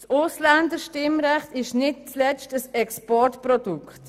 Das Ausländerstimmrecht ist nicht zuletzt ein Exportprodukt.